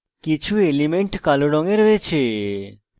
কিছু elements কালো রঙে রয়েছে